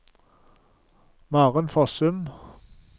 Maren Fossum